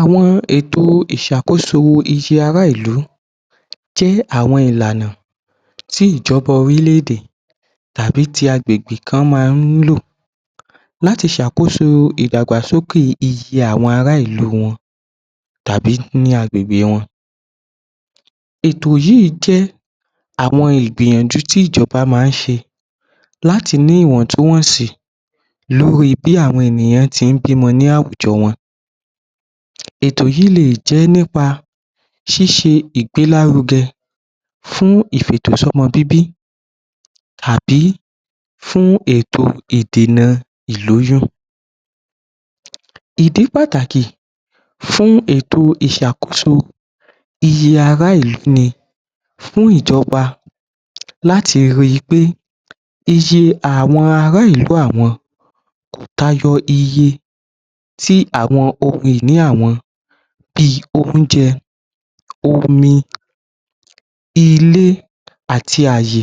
Àwọn ètò ìṣàkóso iye ara ìlú tí àwọn ìlànà tí ìjọba orílẹ̀-èdè tàbí tí agbègbè kan máa ń lò láti ṣe àkoso ìdàgbàsókè iye àwọn ara ìlú wọn tàbí ní agbègbè wọn. Ètò yìí jẹ́ àwọn ìgbìyànjú tí ìjọba máa ń ṣe láti ní ìwọ̀tún-wọ̀sì lórí bí àwọn ènìyàn ti ń bímọ ní àwùjọ wọn. Ètò yìí lè jẹ́ nípa ṣíṣe ìgbélárugẹ fún ìfètò-sọ́mọ-bíbí tàbí fún ètò ìdènà ìlóyún. Ìdí pàtàkì fún ètò ìṣàkoso iye ará ìlú ni fún ìjọba láti ri pé iye àwọn ara ìlú àwọn tayọ iye ti àwọn ohun ìní àwọn, bí i oúnjẹ, omi, ilé, àti àyè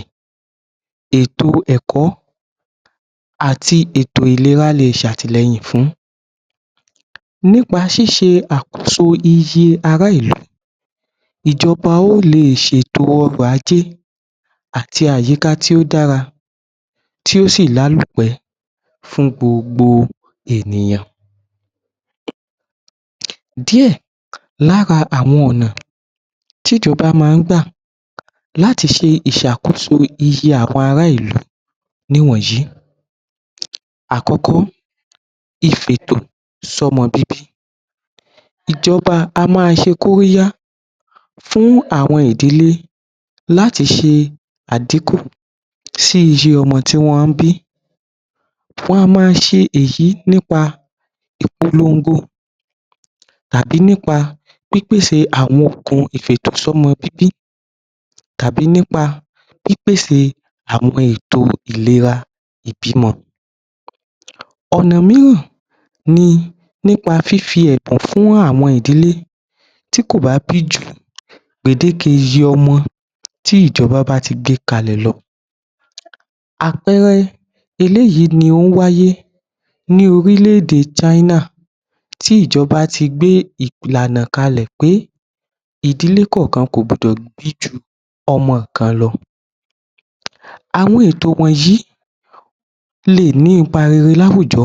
ètò ẹ̀kọ́, àti ètò ìlera lè ṣe àtìlẹyìn fún. Nípa ṣíṣe àkoso iye ara ìlú ìjọba yóò lè ṣètò ọrọ̀-ajé àti àyíká tí ó dára tí ó sì lálòpẹ́ fún gbogbo ènìyàn. Díẹ̀ lára àwọn ọ̀nà tí ìjọba máa ń gbà láti ṣe ìṣàkoso iye àwọn ará ìlú nìwọǹyí, àkọ́kọ́ Ìfètò sọ́mọ bíbí ìjọba á máa ṣe kóríyá fún àwọn ìdílé láti ṣe à-dín-kù sí iye ọmọ tí wọ́n bí. Wá máa ṣe èyí nípa ìpolongo tàbí nípa pípèsè àwọn ohun ìfètò-sọ́mọ-bíbí tàbí nípa pípèsè àwọn ètò ìlera ìbímọ. Ọ̀nà mìíràn ni nípá fífi ẹ̀kọ́ fún àwọn ìdílé tí kò bá bí ju gbèdéke iye ọmọ tí ìjọba bá ti gbé kalẹ̀ lọ. Àpẹẹrẹ eléyìí ni ó wáyé ní orílẹ̀-èdè China tí ìjọba ti gbé ìlànà kalẹ̀ pé ìdílé kọ̀ọ̀kan kò gbọ́dọ̀ bí ju ọmọ kan lọ. Àwọn ètò wọ̀nyí lè ní ipa rere láwùjọ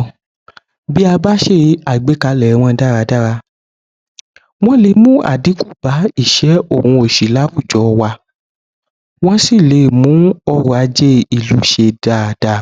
bí a bá ṣe àgbékalẹ̀ wọn dára dára, wọ́n lè mú à-dín-kù bá ìṣẹ́ òun òṣì láwùjọ wa, wọ́n sì lè mú ọrọ̀-ajé ìlú ṣe dáadáa.